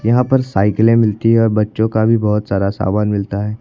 यहां पर साइकिले मिलती है और बच्चों का बहुत सारा सामान मिलता है।